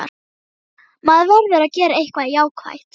Maður verður að gera eitthvað jákvætt.